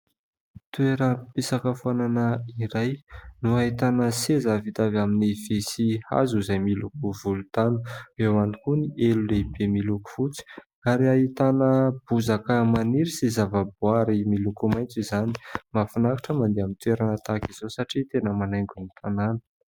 Toeram-pisakafoanana iray, no ahitana seza vita avy amin'y vy sy hazo, izay miloko volontany ; eo ihany koa ny elo lehibe miloko fotsy ary ahitana bozaka maniry sy zavaboary miloko maitso izany. Mahafinaritra mandeha amin'ny toerana tahaka izao satria tena manaingo ny tanàna.